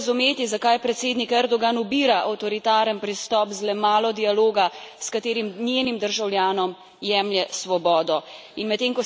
In težko je razumeti, zakaj predsednik Erdogan ubira avtoritaren pristop z le malo dialoga, s katerim njenim državljanom jemlje svobodo.